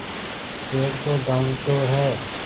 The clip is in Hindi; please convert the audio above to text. डेढ़ सौ गॉँव तो हैं